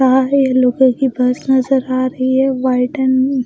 लोगों की बस नजर आ रही है वाइट अंड --